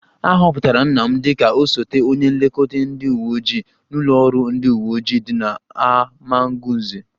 A họpụtara nna m dịka osote onye nlekọta ndị uwe ojii n'ụlọ ọrụ ndị uwe ojii dị n'Amagunze